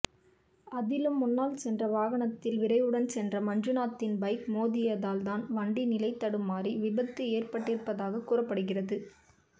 அதிலும் முன்னால் சென்ற வாகனத்தில் விரைவுடன் சென்ற மஞ்சுநாத்தின் பைக் மோதியதால் தான் வண்டி நிலைதடுமாறி விபத்து ஏற்பட்டிருப்பதாகக் கூறப்பட்டிருக்கிறது